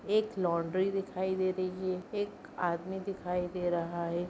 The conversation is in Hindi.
एक लॉन्ड्री दिखाई दे रही है। एक आदमी दिखाई दे रहा है।